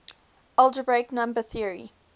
algebraic number theory